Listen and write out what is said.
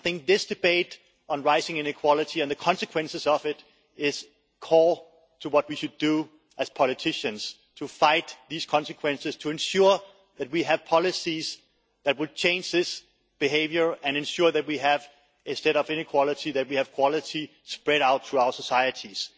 I think this debate on rising inequality and the consequences of it is core to what we should do, as politicians, to fight these consequences, to ensure that we have policies that will change this behaviour and ensure that, instead of inequality, we have quality spread out through our societies.